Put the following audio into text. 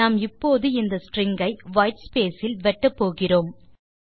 நாம் இப்போது இந்த ஸ்ட்ரிங் ஐ வைட்ஸ்பேஸ் இல் வெட்டப்போகிறோம்